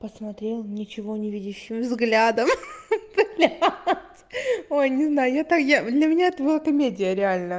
посмотрел ничего невидящим взглядом хи-хи блядь ой не знаю я та я для меня это была комедия реально